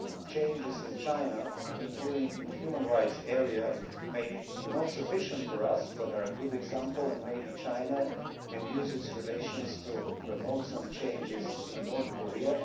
The changes in China, including in the human rights area, may not be sufficient for us but are a good example and perhaps China can use its relations to promote some changes in North Korea.